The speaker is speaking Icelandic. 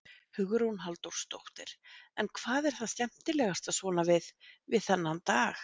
Hugrún Halldórsdóttir: En hvað er það skemmtilegasta svona við, við þennan dag?